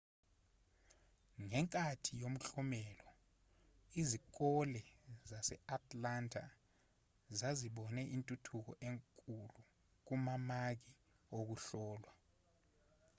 ngenkathi yomklomelo izikole zase-atlanta zazibone intuthuko enkulu kumamaki okuhlolwa